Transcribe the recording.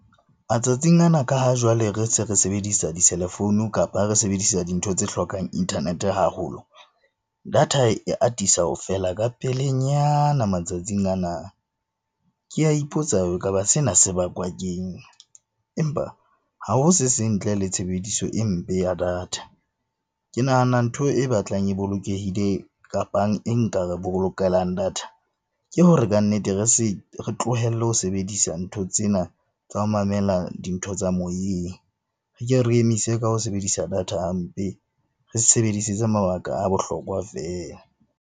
Matsatsing ana, ka ha jwale re se re sebedisa diselefounu kapa re sebedisa dintho tse hlokang internet-e haholo, data e atisa ho fela ka pelenyana matsatsing ana. Ke a ipotsa ekaba sena se bakwa keng, empa ha ho se seng ntle le tshebediso e mpe ya data. Ke nahana ntho e batlang e bolokehile kapang e nka re bolokelang data ke hore kannete re re tlohelle ho sebedisa ntho tsena tsa ho mamela dintho tsa moyeng, re ke re emise ka ho sebedisa data hampe. Re sebedisetse mabaka a bohlokwa feela.